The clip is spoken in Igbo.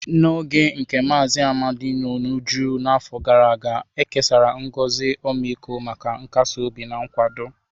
N'oge nke Mazi Amadi n'uju afọ gara aga, e kesara ngozi ọmịiko maka nkasi obi na nkwado.